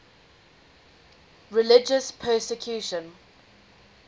religious persecution